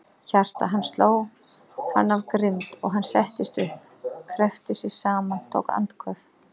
Hjarta hans sló hann af grimmd, og hann settist upp, kreppti sig saman, tók andköf.